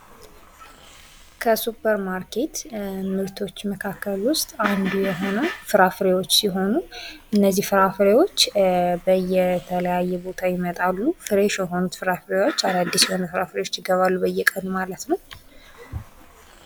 ከሱፐር ማርኬት ምርቶች መካከል ውስጥ አንዱ የሆነው ፍራፍሬዎች ሲሆኑ እነዚህ ፍራፍሬዎች ከተለያየ ቦታ ይመጣሉ ፍሬሽ የሆኑት ፍራፍሬዎች ይገባሉ በየቀኑ ማለት ነው ።